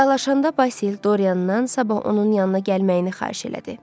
Vidalaşanda Basil Doryandan sabah onun yanına gəlməyini xahiş elədi.